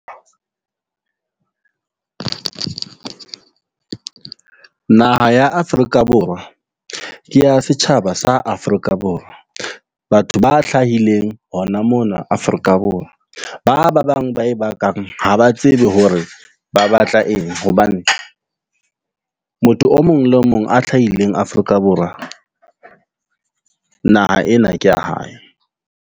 Naha ya Afrika Borwa ke ya setjhaba sa Afrika Borwa. Batho ba hlahileng hona mona Afrika Borwa. Ba ba bang ba e bakang ha ba tsebe hore ba batla eng. Hobane motho o mong le o mong a hlahileng Afrika Borwa. Naha ena ke ya hae.